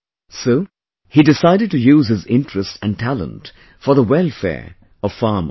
So, he decided to use his interest and talent for the welfare of farmers